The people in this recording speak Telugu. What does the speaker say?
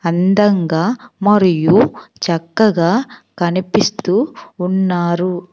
అందంగా మరియు చక్కగా కనిపిస్తూ ఉన్నారు.